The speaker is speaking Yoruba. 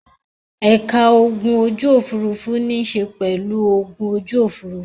Ẹ̀ka ogun ojú-òfurufú níṣe pẹ̀lú ogun ojú òfurufú.